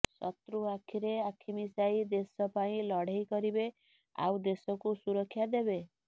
ଶତ୍ରୁ ଆଖିରେ ଆଖି ମିଶାଇ ଦେଶ ପାଇଁ ଲଢ଼େଇ କରିବେ ଆଉ ଦେଶକୁ ସୁରକ୍ଷା ଦେବେ